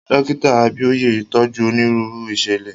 Dókítà Abíóyè tọ́jú onírúurú ìṣẹ̀lẹ̀.